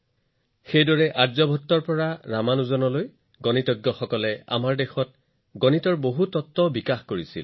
একেদৰে আৰ্যভট্টৰ পৰা ৰামানুজনৰ দৰে গণিতজ্ঞলৈকে আমি গণিতৰ বহুতো নীতিৰ ওপৰত কাম কৰিছো